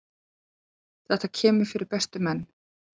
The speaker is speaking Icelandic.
Þetta kemur fyrir bestu menn.